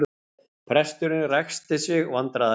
Presturinn ræskti sig vandræðalega.